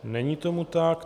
Není tomu tak.